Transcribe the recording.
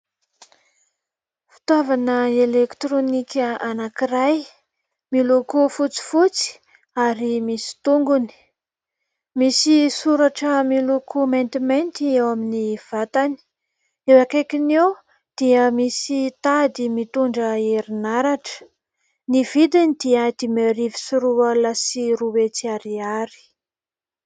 Fitaovana elektronika anankiray, miloko fotsifotsy, ary misy tongony ; misy soratra miloko maintimainty eo amin'ny vatany. Eo akaikiny eo dia misy tady mitondra herinaratra. Ny vidiny dia dimy arivo sy roa alina sy roa hetsy ariary.